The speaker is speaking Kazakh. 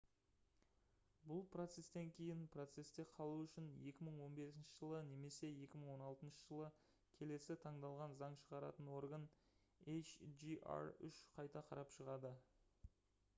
бұл процестен кейін процесте қалу үшін 2015 жылы немесе 2016 жылы келесі таңдалған заң шығаратын орган hjr-3 қайта қарап шығады